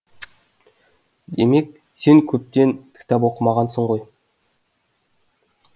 демек сен көптен кітап оқымағансың ғой